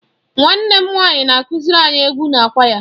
Nwanne m nwanyị na-akụziri anyị egwu na kwaya.